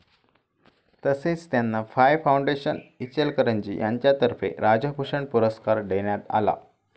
तसेच त्यांना फाय फाऊंडेशन, इचलकरंजी यांच्यातर्फे राष्ट्रभूषण पुरस्कार देण्यात आला.